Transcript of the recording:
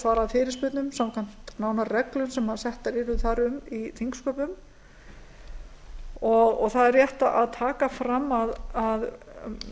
svarað fyrirspurnum samkvæmt nánari reglum sem settar yrðu þar um í þingsköpum það er rétt að taka fram að